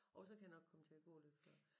Jo så kan jeg nok komme til at gå lidt før